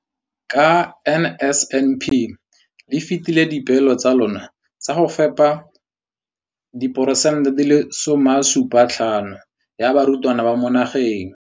Ka NSNP le fetile dipeelo tsa lona tsa go fepa masome a supa le botlhano a diperesente ya barutwana ba mo nageng.